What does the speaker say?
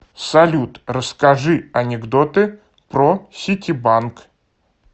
салют расскажи анекдоты про ситибанк